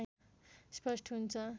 स्पष्ट हुन्छ